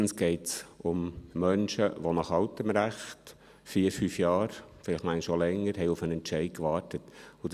Erstens geht es um Menschen, die nach altem Recht vier, fünf Jahre, vielleicht manchmal auch länger, auf einen Entscheid gewartet haben.